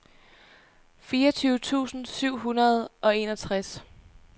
fireogtyve tusind syv hundrede og enogtres